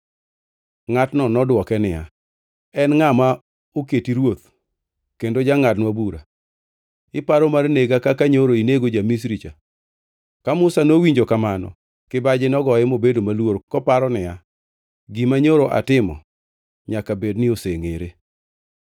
Ngʼatno nodwoke niya, “En ngʼa ma oketi ruoth kendo jangʼadnwa bura? Iparo mar nega kaka nyoro inego ja-Misri cha?” Ka Musa nowinjo kamano, kibaji nogoye mobedo maluor koparo niya, “Gima nyoro atimo nyaka bed ni osengʼere.”